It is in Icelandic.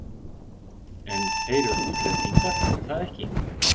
En þeir eru útlendingar, er það ekki?